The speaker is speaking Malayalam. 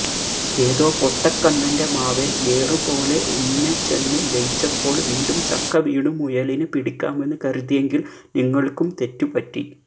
ഏതോ പൊട്ടക്കണ്ണന്റെ മാവേല് ഏറുപോലെ ഇന്നച്ചന് ജയിച്ചപ്പോള് വീണ്ടും ചക്ക വീണു മുയലിനെ പിടിക്കാമെന്ന് കരുതിയെങ്കില് നിങ്ങള്ക്കും തെറ്റുപറ്റി